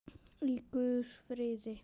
Í guðs friði.